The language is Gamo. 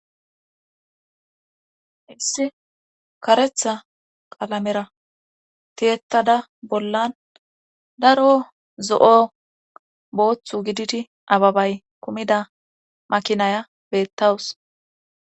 Issi karetha qalamera tiyettada bollan daro zo'o booththu gididi ababay kumida makinaya beettawus.